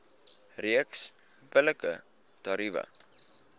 reeks billike tariewe